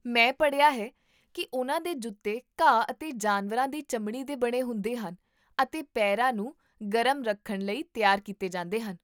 ਮੈਂ ਪੜ੍ਹਿਆ ਹੈ ਕਿ ਉਨ੍ਹਾਂ ਦੇ ਜੁੱਤੇ ਘਾਹ ਅਤੇ ਜਾਨਵਰਾਂ ਦੀ ਚਮੜੀ ਦੇ ਬਣੇ ਹੁੰਦੇ ਹਨ ਅਤੇ ਪੇਰਾਂ ਨੂੰ ਗਰਮ ਰੱਖਣ ਲਈ ਤਿਆਰ ਕੀਤੇ ਜਾਂਦੇ ਹਨ